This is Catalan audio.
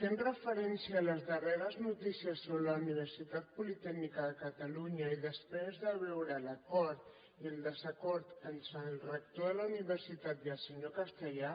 fent referència a les darreres notícies sobre la universitat politècnica de catalunya i després de veure l’acord i el desacord entre el rector de la universitat i el senyor castellà